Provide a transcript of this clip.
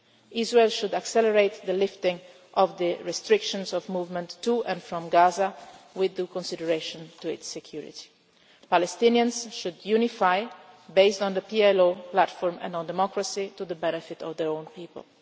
must end. Israel should accelerate the lifting of the restrictions of movement to and from Gaza with due consideration for its security. The Palestinians should unify, based on the PLO platform and on democracy, for the benefit of their